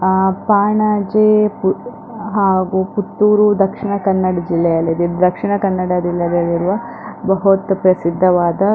ಹಾ ಪಾಣಾಜೆ ಹಾಗು ಪುತ್ತೂರು ದಕ್ಷಿಣ ಕನ್ನಡ ಜಿಲ್ಲೆಯಲ್ಲಿದೆ ದಕ್ಷಿಣ ಕನ್ನಡ ಜಿಲ್ಲೆಯಲ್ಲಿರುವ ಬಹುತ್ ಪ್ರಸಿದ್ದವಾದ--